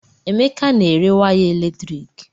Emeka na-ere waya eletrik